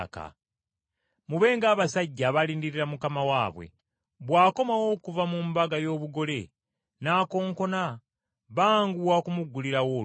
Mube ng’abasajja abalindirira mukama waabwe; bw’akomawo okuva mu mbaga y’obugole, n’akonkona banguwa okumuggulirawo oluggi.